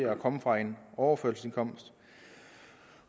at komme fra overførselsindkomst